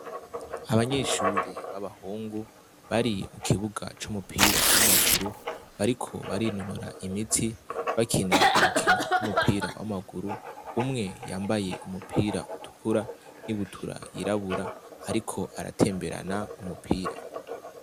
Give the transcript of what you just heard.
Abanyeshuri b'abahungu bari mu kibuga c'umupira w'amaguru, bariko barinonora imitsi bakina urukino rw'umupira w'amaguru, umwe yambaye umupira utukura n'ibutura yirabura ariko aratemberana umupira.